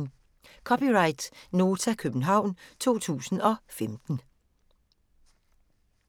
(c) Nota, København 2015